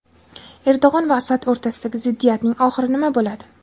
Erdo‘g‘on va Asad o‘rtasidagi ziddiyatning oxiri nima bo‘ladi?